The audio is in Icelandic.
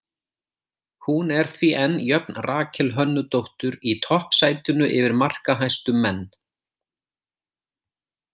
Hún er því enn jöfn Rakel Hönnudóttur í toppsætinu yfir markahæstu menn.